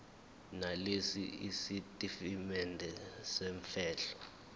nalesi sitatimende semfihlo